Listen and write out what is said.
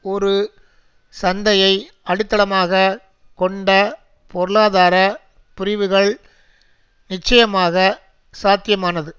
ஒரு சந்தையை அடித்தளமாக கொண்ட பொருளாதார பிரிவுகள் நிட்சயமாக சாத்தியமானது